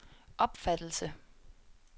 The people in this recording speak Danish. opfattelse